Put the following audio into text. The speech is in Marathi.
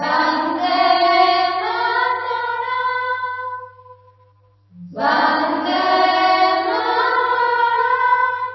वन्दे मातरम् वन्दे मातरम्